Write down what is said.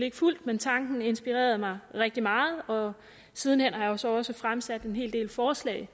ikke fulgt men tanken inspirerede mig rigtig meget og siden hen har jeg så også fremsat en hel del forslag